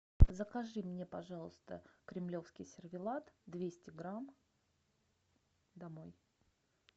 закажи мне пожалуйста кремлевский сервелат двести грамм домой